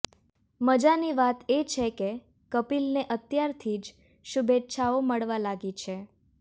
મજાની વાત એ છે કે કપિલને અત્યારથી જ શુભેચ્છાઓ મળવા લાગી છે